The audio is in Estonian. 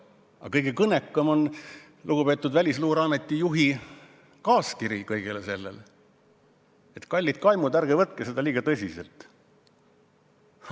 Aga kõige kõnekam on lugupeetud Välisluureameti juhi kaaskiri, milles ta ütleb, et kallid kaimud, ärge võtke seda liiga tõsiselt.